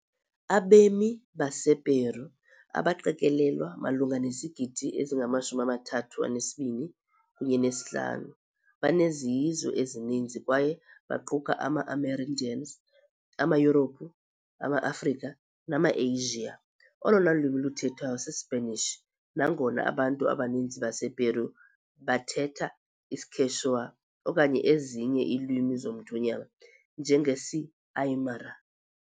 Abemi basePeru, abaqikelelwa malunga nezigidi ezingama-32.5, banezizwe ezininzi kwaye baquka ama-Amerindians, amaYurophu, amaAfrika, nama -Asiya. Olona lwimi luthethwayo sisiSpanish, nangona abantu abaninzi basePeru bathetha isiQuechua okanye ezinye iilwimi zomthonyama, njengesiAymara